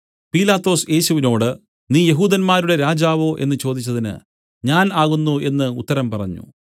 പീലാത്തോസ് യേശുവിനോടു നീ യെഹൂദന്മാരുടെ രാജാവോ എന്നു ചോദിച്ചതിന് ഞാൻ ആകുന്നു എന്നു ഉത്തരം പറഞ്ഞു